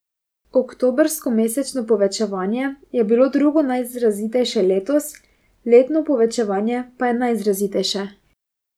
Oktobrsko mesečno povečanje je bilo drugo najizrazitejše letos, letno povečanje pa najizrazitejše.